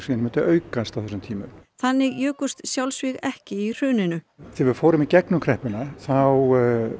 myndi aukast á þessum tíma þannig jukust sjálfsvíg ekki í hruninu þegar við fórum í gegnum kreppuna þá